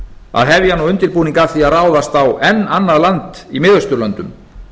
að hefja nú undirbúning að því að ráðast á enn annað land í mið austurlöndum